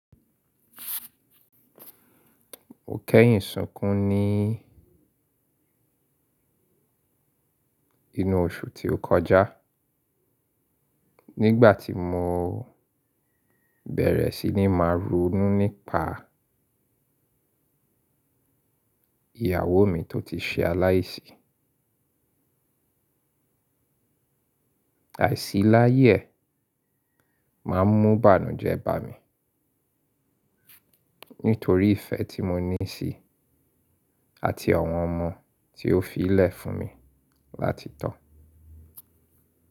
Mo kẹ́yìn súnkún ní inú oṣù tí ó kọjá, nígbà tí mo bẹ̀rẹ̀ sí ní máa ronu nípa ìyàwó mi tó ti ṣe aláìsí. Àìsí láyè máa ń mú bàánu jẹ́ bàámi nítorí ìfẹ́ tí mo ní sí i àti àwọn ọmọ tí ó fi lẹ̀ fún mi láti tọ̀.